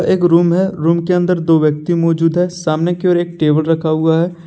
एक रूम है रूम के अंदर दो व्यक्ति मौजूद हैं सामने की ओर एक टेबल रखा हुआ है।